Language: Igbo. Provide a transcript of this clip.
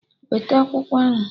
Weta akwụkwọ ahụ!